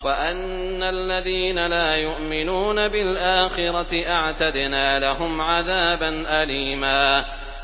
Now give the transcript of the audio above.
وَأَنَّ الَّذِينَ لَا يُؤْمِنُونَ بِالْآخِرَةِ أَعْتَدْنَا لَهُمْ عَذَابًا أَلِيمًا